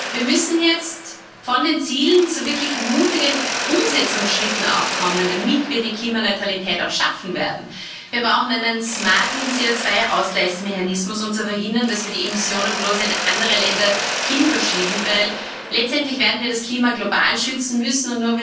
Wir müssen jetzt von den Zielen zu wirklich mutigen Umsetzungsschritten kommen, damit wir die Klimaneutralität auch schaffen werden. Wir brauchen einen smarten CO2 Ausgleichsmechanismus, um zu verhindern, dass wir die Emissionen bloß in andere Länder hin verschieben, denn letztendlich werden wir das Klima global schützen müssen.